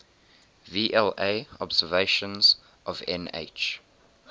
vla observations of nh